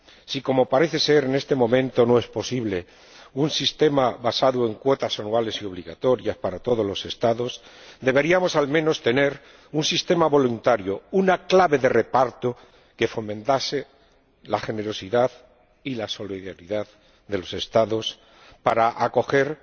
Si, como parece ser, en este momento no es posible un sistema basado en cuotas anuales y obligatorias para todos los Estados, deberíamos, al menos, tener un sistema voluntario, una clave de reparto que fomente la generosidad y la solidaridad de los Estados para acoger